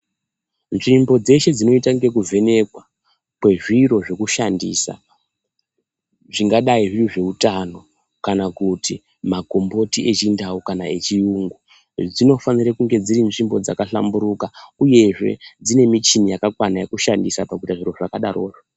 Nzvimbo dzeshe dzinoita ngekuvhenekwa kwezviro zvekushandisa zvingadai zviri zveutano kana kuti makomboti echindau kana echiyungu dzinofanire kunge dziri nzvimbo dzakahlamburuka uyezve dziine michini yakakwana yekushandisa pakuite zviro zvakadarozvo.